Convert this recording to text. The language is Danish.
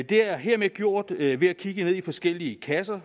det er hermed gjort ved at vi har kigget ned i forskellige kasser